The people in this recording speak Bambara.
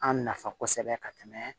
An nafa kosɛbɛ ka tɛmɛ